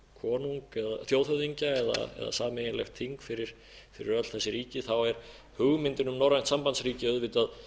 sameiginlegan þjóðhöfðingja eða sameiginlegt þing fyrir öll þessi ríki er hugmyndin um norrænt sambandsríki auðvitað